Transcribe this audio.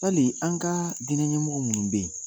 Hali an ka diinɛ ɲɛmɔgɔ minnu bɛ yen